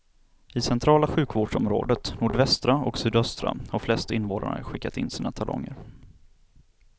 I centrala sjukvårdsområdet, nordvästra och sydöstra har flest invånare skickat in sina talonger.